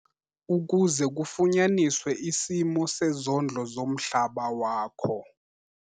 - ukuze kufunyaniswe isimo sezondlo zomhlaba wakho.